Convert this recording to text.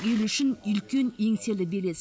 ел үшін үлкен еңселі белес